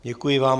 Děkuji vám.